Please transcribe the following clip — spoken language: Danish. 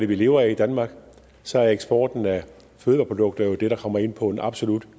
vi lever af i danmark så er eksporten af fødevareprodukter jo det der kommer ind på en absolut